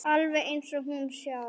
Alveg eins og hún sjálf.